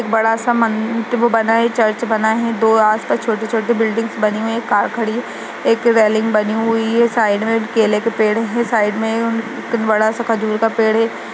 बडा सा मन वो बना है चर्च बना हुआ है दो आस पास छोटी - छोटी बिल्डिंग बनी हुई हैं एक कार खड़ी है साइड मे रेलिंग बनी हुई है। साइड मे केले का पेड़ है साइड मे बड़ा सा खजूर का पेड़ है |